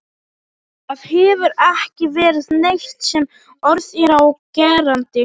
Það hefur ekki verið neitt sem orð er á gerandi.